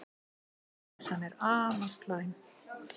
Óvissan afar slæm